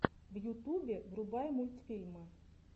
в ютубе врубай мультфильмы